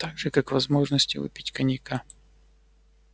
так же как возможности выпить коньяка